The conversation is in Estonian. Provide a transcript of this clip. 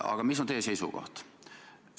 Aga mis on teie seisukoht?